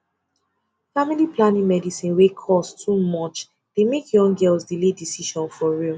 family planning medicine wey cost too much dey make young girls delay decision for real